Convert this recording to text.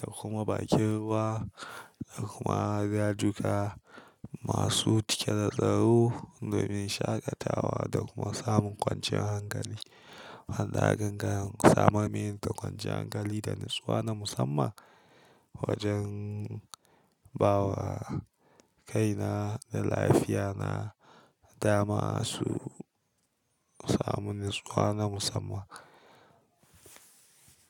da kuma bakin ruwa da kuma dajuka masu cike da tsaro domin shaƙatawa da kuma samun ƙwanciyar hankali. Hanyar gangan samun mintar ƙwanciyar hankali da natsuwa na musamman wajen bawa kaina da lafiya na da masu samun natsuwa na musamman.